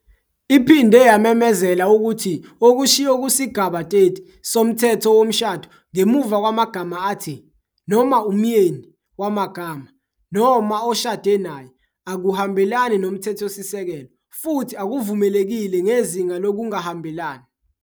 Iphinde yamemezela ukuthi okushiwo kusigaba 30, 1, soMthetho Womshado ngemuva kwamagama athi "noma umyeni" wamagama "noma oshade naye" akuhambelani noMthethosisekelo, futhi akuvumelekile ngezinga lokungahambelani.